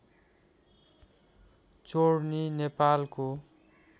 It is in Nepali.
चोर्नी नेपालको